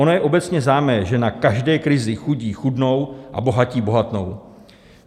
Ono je obecně známé, že na každé krizi chudí chudnou a bohatí bohatnou.